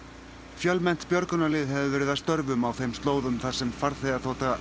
fjölmennt björgunarlið hefur verið að störfum á þeim slóðum þar sem farþegaþota